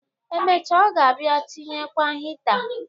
Emecha, ọ ga-abịa tinyekwa hita.